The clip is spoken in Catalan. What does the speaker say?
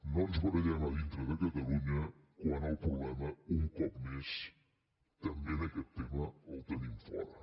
no ens barallem a dintre de catalunya quan el problema un cop més també en aquest tema el tenim fora